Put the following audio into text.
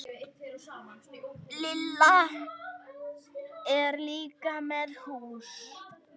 Lilla er líka með lús.